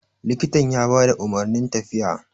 likitan ya ba da umarnin tafiya